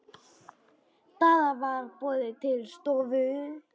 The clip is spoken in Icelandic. Daða var boðið til stofu.